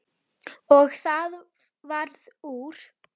Og það varð úr.